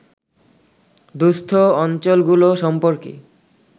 দুঃস্থ অঞ্চলগুলো সম্পর্কে